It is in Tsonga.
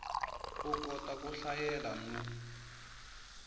u kota ku hlayela no